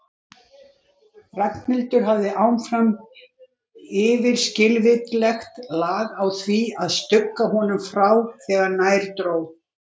Ragnhildur hafði áfram yfirskilvitlegt lag á því að stugga honum frá þegar nær dró.